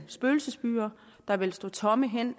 spøgelsesbyer der vil stå tomme hen